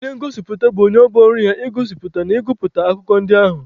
Onye ngosipụta bụ onye ọ bụ ọrụ ya igosipụta na ịgụpụta akụkọ ndị ahụ.